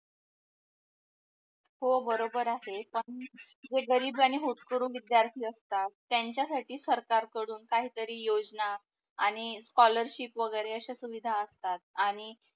हो बरोबर आहे पण जे गरीब आणि होटकरू विद्यार्थी असतात त्यांच्या साठी सरकार कडून काही तरी योजना आणि स्कॉलरशिप वगेरे अश्या सुविधा असतात आणि